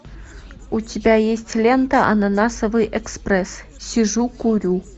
у тебя есть лента ананасовый экспресс сижу курю